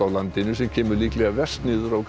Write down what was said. á landinu sem kemur líklega verst niður á